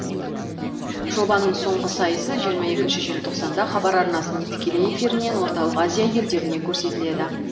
жобаның соңғы сайысы жиырма екі желтоқсанда хабар арнасының тікелей эфирінен орталық азия елдеріне көрсетіледі